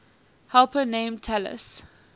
helper named talus